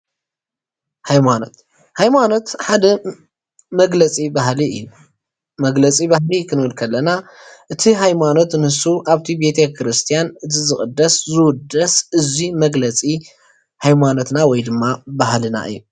ሃይማኖት ሃይማኖት ሓደ መግለፂ ባህሊ እዩ። መግለፂ ባህሊ ክንብል ከለና እቲ ሃይማኖት ንሱ ኣብቲ ቤተክርስቲያን እቲ ዝቅደስ ዝውደስ እዙይ መግለፂ ሃይማኖትና ወይድማ ባህልና እዩ።